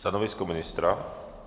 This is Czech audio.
Stanovisko ministra?